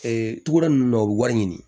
togoda nunnu na u be wari ɲini